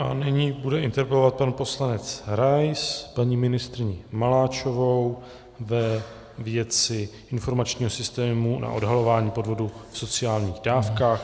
A nyní bude interpelovat pan poslanec Rais paní ministryni Maláčovou ve věci informačního systému na odhalování podvodů v sociálních dávkách.